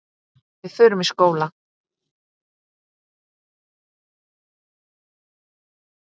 Við förum í skóla.